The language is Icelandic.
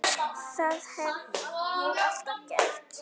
Það hef ég alltaf gert.